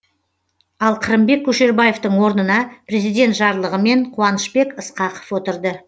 ал қырымбек көшербаевтың орнына президент жарлығымен қуанышбек ысқақов отырды